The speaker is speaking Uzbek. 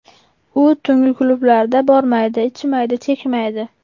U tungi klublarga bormaydi, ichmaydi, chekmaydi.